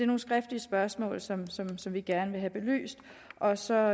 nogle skriftlige spørgsmål som som vi gerne vil have belyst og så